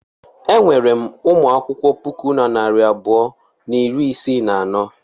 Enwere m ụmụ akwụkwọ puku na narị abụọ na iri isii na anọ.